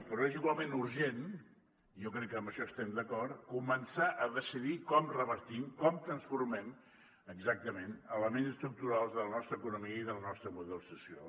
però és igualment urgent jo crec que en això estem d’acord començar a decidir com revertim com transformem exactament elements estructurals de la nostra economia i del nostre model social